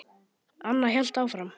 Anna hélt áfram.